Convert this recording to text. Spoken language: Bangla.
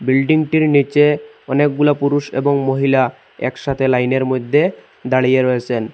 বিল্ডিং -টির নীচে অনেকগুলা পুরুষ এবং মহিলা একসাথে লাইন -এর মইদ্যে দাঁড়িয়ে রয়েসেন।